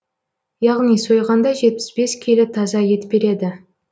яғни сойғанда жетпіс бес келі таза ет береді